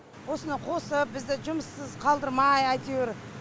осыны қосып бізді жұмыссыз қалдырмай әйтеуір